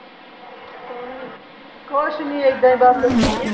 ਕੁੱਛ ਨਹੀਂ ਏਦਾਂ ਹੀ ਬਸ